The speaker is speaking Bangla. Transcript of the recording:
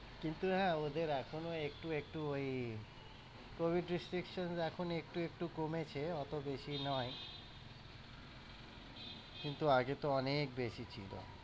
কিন্তু হ্যাঁ ওদের এখনো একটু একটু ওই covid restrictions এখন একটু একটু কমেছে, অত বেশি নয়। কিন্তু আগে তো অনেক বেশি ছিল।